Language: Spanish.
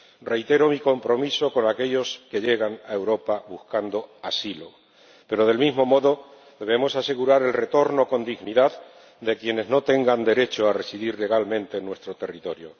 Reitero mi compromiso con aquellos que llegan a Europa buscando asilo, pero, del mismo modo, debemos asegurar el retorno con dignidad de quienes no tengan derecho a residir legalmente en nuestro territorio.